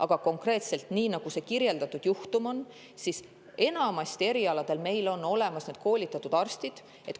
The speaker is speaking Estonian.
Aga nagu seal kirjeldatud juhtumis oli, on meil enamikul erialadel olemas koolitatud arstid.